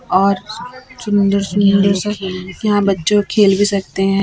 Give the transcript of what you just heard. और सुंदर सुंदर यहां बच्चों खेल भी सकते हैं।